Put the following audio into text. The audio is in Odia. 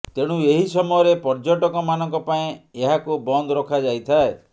ତେଣୁ ଏହି ସମୟରେ ପର୍ଯ୍ୟଟକମାନଙ୍କ ପାଇଁ ଏହାକୁ ବନ୍ଦ ରଖାଯାଇଥାଏ